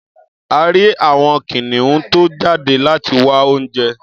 A rí àwọn kìnìún tó jáde láti wá oúnjẹ.